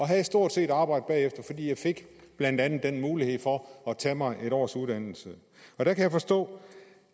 havde stort set arbejde bagefter blandt andet fik den mulighed for at tage mig en års uddannelse jeg kan forstå